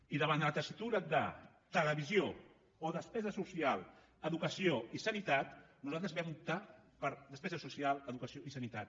i davant de la tessitura de televisió o despesa social educació i sanitat nosaltres vam optar per despesa social educació i sanitat